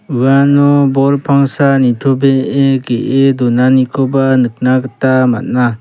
uano bol pangsa nitobee ge·e donanikoba nikna gita man·a.